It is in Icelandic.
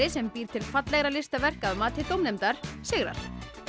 sem býr til fallegra listaverk að mati dómnefndar sigrar